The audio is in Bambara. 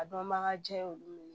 A dɔnbaga jɛ y'olu minɛ